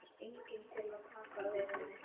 Svo er enginn til að taka við henni.